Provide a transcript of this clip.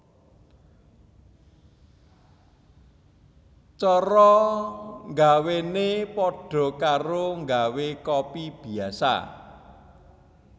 Cara nggawénè padha karo nggawé kopi biasa